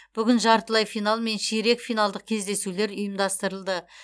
бүгін жартылай финал мен ширек финалдық кездесулер ұйымдастырылды